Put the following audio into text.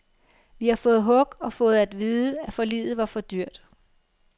Vi har fået hug og fået at vide, at forliget var for dyrt.